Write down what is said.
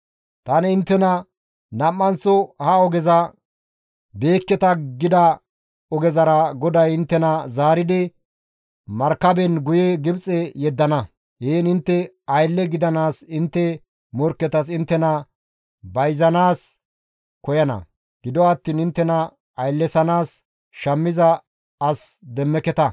Tani inttena, «Nam7anththo ha ogezara beekketa» gida ogezara GODAY inttena zaaridi markaben guye Gibxe yeddana. Heen intte aylle gidanaas intte morkketas inttena bayzanaas koyana; gido attiin inttena ayllesanaas shammiza as demmeketa.